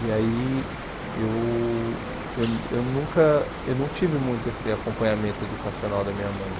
E aí, eu eu eu nunca, eu não tive muito esse acompanhamento educacional da minha mãe.